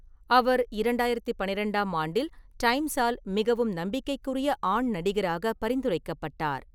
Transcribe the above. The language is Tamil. அவர் இரண்டாயிரத்து பன்னிரெண்டாம் ஆண்டில் டைம்ஸால் மிகவும் நம்பிக்கைக்குரிய ஆண் நடிகராக பரிந்துரைக்கப்பட்டார்.